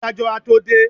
adájọ a to dé